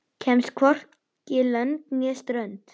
Kemst hvorki lönd né strönd.